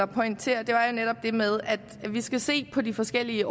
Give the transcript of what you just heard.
pointere er netop det med at vi skal se på de forskellige